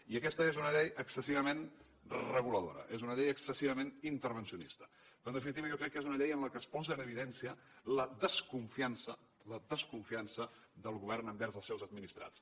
i aquesta és una llei excessivament reguladora és una llei excessivament intervencionista però en definitiva jo crec que és una llei en la qual es posa en evidència la desconfiança la desconfiança del govern envers els seus administrats